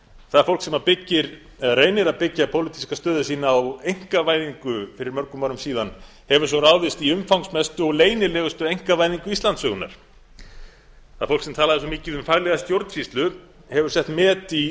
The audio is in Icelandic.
það fólk sem reynir að byggja pólitíska stöðu sína á einkavæðingu fyrir mörgum árum síðan hefur svo ráðist í umfangsmestu og leynilegustu einkavæðingu íslandssögunnar það fólk sem talaði svo mikið um faglega stjórnsýslu hefur sett met í